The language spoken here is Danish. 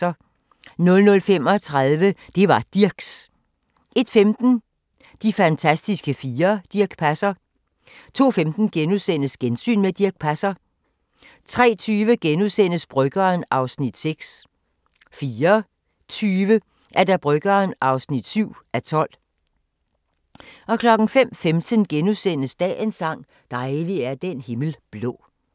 00:35: Det var Dirchs! 01:15: De fantastiske fire: Dirch Passer 02:15: Gensyn med Dirch Passer * 03:20: Bryggeren (6:12)* 04:20: Bryggeren (7:12) 05:15: Dagens sang: Dejlig er den himmel blå *